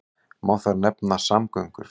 Má þar nefna samgöngur.